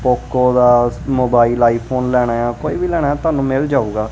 Poco ਦਾ mobile iPhone ਲੈਣਾ ਕੋਈ ਵੀ ਲੈਣਾ ਤੁਹਾਨੂੰ ਮਿਲ ਜਾਊਗਾ।